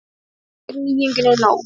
Fátt er nýjunginni nóg.